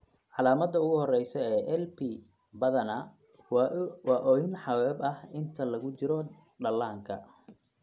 Calaamadda ugu horreysa ee LP badanaa waa oohin xabeeb ah inta lagu jiro dhallaanka.